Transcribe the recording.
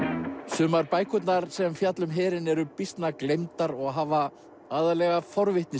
sumar bækurnar sem fjalla um herinn eru býsna gleymdar og hafa aðallega